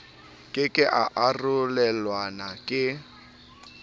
ke ke a arolelanwa le